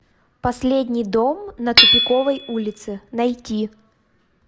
последний дом на тупиковой улице найти